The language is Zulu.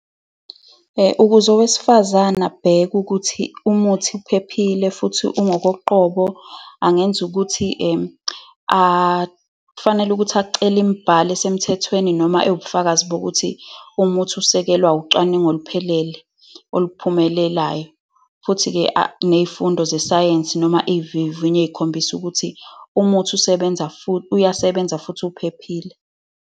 Ukuze owesifazane abheke ukuthi umuthi uphephile futhi ungokoqobo, angenza ukuthi kufanele ukuthi acele imibhalo esemthethweni noma ewubufakazi bokuthi umuthi ukusekelwa ucwaningo oluphelele oluphumelelayo. Futhi-ke ney'fundo zesayensi, noma izivivinyo ey'khombisa ukuthi umuthi usebenza, uyasebenza, futhi uphephile.